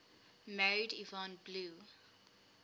married yvonne blue